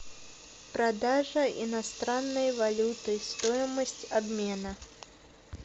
продажа иностранной валюты стоимость обмена